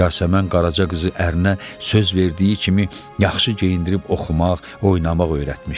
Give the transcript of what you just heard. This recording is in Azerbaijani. Yasəmən Qaraca qızı ərinə söz verdiyi kimi yaxşı geyindirib oxumaq, oynamaq öyrətmişdi.